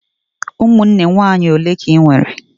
Ụmụnne nwaanyị ole ka Ị nwere?